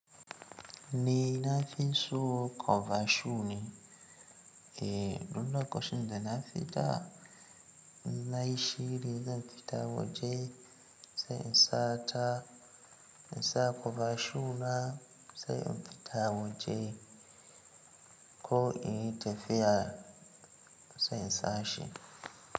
Ni na fi son cover shoe ne. Eh, duk lokacin da na fita in nayi shiri zan fita waje sai in sa ta, in sa cover shu na sai in fita waje ko inji tafiya to sai in sa shi.